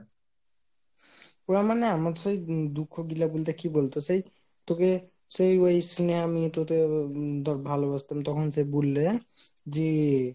না মানে আমার সেই দুঃখ গুলো বলতে কি বলতে সেই তোকে সেই ওই স্নেহা মেয়েটাকে ভালোবাসতাম তখন সেই বুল্লে যে